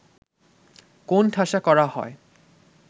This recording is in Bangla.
কোণঠাসা করা হয়